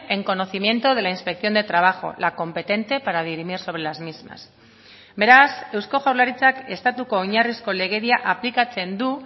en conocimiento de la inspección de trabajo la competente para dirimir sobre las mismas beraz eusko jaurlaritzak estatuko oinarrizko legedia aplikatzen du